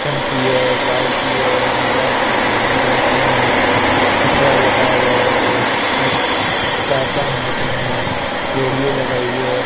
टंकी है बाल्टी है हवा भरने की मशीन है छपरा लगाया हुआ है और चार पांच मशीन है रेले लगाई है।